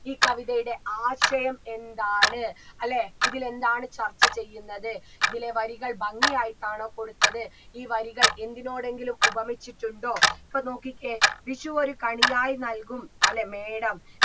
ഈ കവിതയുടെ ആശയം എന്താണ് അല്ലേ ഇതിലെന്താണ് ചർച്ച ചെയ്യുന്നത് ഇതിലെ വരികൾ ഭംഗിയായിട്ടാണോ കൊടുത്തത് ഈ വരികൾ എന്തിനോടെങ്കിലും ഉപമിച്ചിട്ടുണ്ടോ ഇപ്പൊ നോക്കിക്കേ വിഷു ഒരു കണിയായ് നൽകും അല്ലെ മേടം